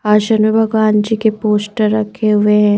आशन मे भगवान जी के पोस्टर रखे हुए है।